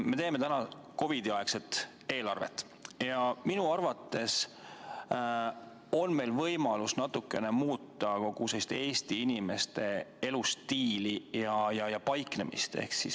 Me teeme täna COVID-i aegset eelarvet ja minu arvates on meil võimalus natukene muuta kogu sellist Eesti inimeste elustiili ja paiknemist.